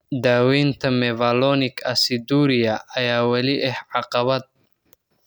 Daaweynta mevalonic aciduria ayaa weli ah caqabad.